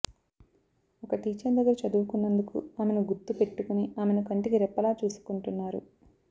ఒక టీచర్ దగ్గర చదువుకున్నందుకు ఆమెను గుర్తు పెట్టుకుని ఆమెను కంటికి రెప్పలా చూసుకుంటున్నారు